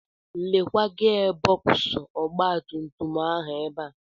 Lekwa gia bọksụ ọgbatumtum ahụ ebe a.